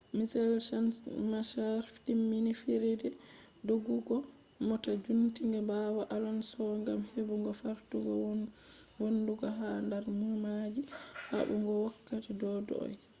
michael schumacher timmini fijirde doggugo mota jutinga bawo alonso gam hebugo fartugo vonnugo ha dar numaji habugo wokkati dogugo